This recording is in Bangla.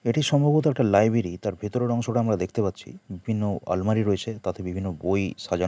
এটি সম্ভবত একটা লাইব্রেরি তার ভেতরের অংশটা আমরা দেখতে পাচ্ছি। বিভিন্ন আলমারি রয়েছে তাতে বিভিন্ন বই সাজান--